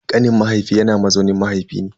Kanin mahaifi yana mazaunin mahaifi ne.